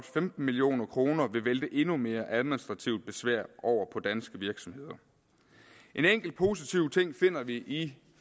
femten million kroner vil vælte endnu mere administrativt besvær over på danske virksomheder en enkelt positiv ting finder vi i